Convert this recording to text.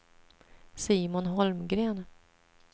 Simon Holmgren